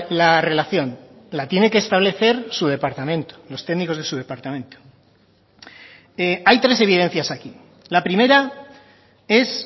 la relación la tiene que establecer su departamento los técnicos de su departamento hay tres evidencias aquí la primera es